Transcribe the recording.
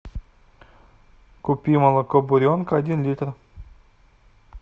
купи молоко буренка один литр